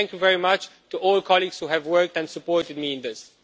So thank you very much to all colleagues who have worked and supported me in this.